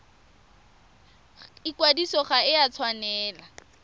ikwadiso ga e a tshwanela